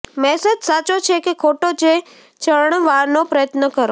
message સાચો છે કે ખોટો જે જાણવાનો પ્રયત્ન કરો